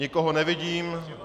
Nikoho nevidím.